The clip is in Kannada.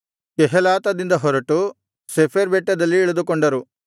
ಕೆಹೇಲಾತದಿಂದ ಹೊರಟು ಶೆಫೆರ್ ಬೆಟ್ಟದಲ್ಲಿ ಇಳಿದುಕೊಂಡರು